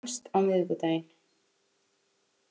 Hann fannst á miðvikudaginn